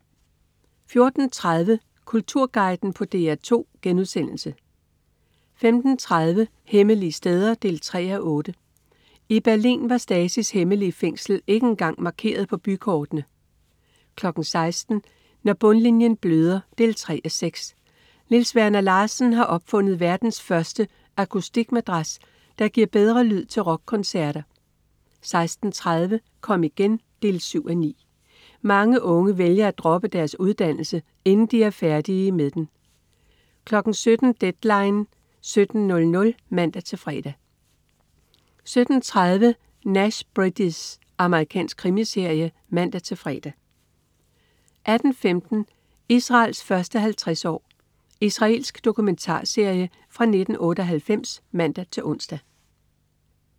14.30 Kulturguiden på DR2* 15.30 Hemmelige steder 3:8. I Berlin var Stasis hemmelige fængsel ikke engang markeret på bykortene 16.00 Når bundlinjen bløder 3:6. Niels Werner Larsen har opfundet verdens første akustikmadras, der giver bedre lyd til rockkoncerter 16.30 Kom igen 7:9. Mange unge vælger at droppe deres uddannelse, inden de er færdige med den 17.00 Deadline 17.00 (man-fre) 17.30 Nash Bridges. Amerikansk krimiserie (man-fre) 18.15 Israels første 50 år. Israelsk dokumentarserie fra 1998 (man-ons)